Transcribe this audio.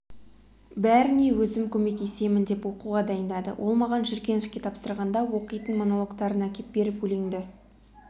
бәріне өзім көмектесемін деп оқуға дайындады ол маған жүргеновке тапсырғанда оқитын монологтарын әкеп беріп өлеңді